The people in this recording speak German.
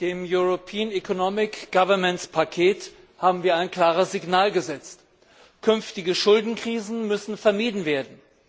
Mit dem European Economic Governance Paket haben wir ein klares Signal gesetzt. Künftige Schuldenkrisen müssen vermieden werden.